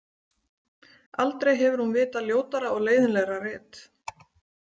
Aldrei hefur hún vitað ljótara og leiðinlegra rit.